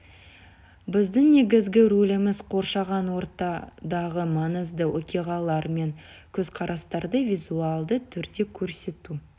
біздің негізгі рөліміз қоршаған ортадағы маңызды оқиғалар мен көзқарастарды визуалды түрде көрсету